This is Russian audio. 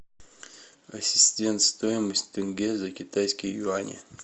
ассистент стоимость тенге за китайские юани